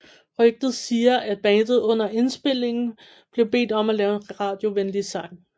Rygter siger at bandet under indspilningen blev bedt om at lave en radiovenlig sang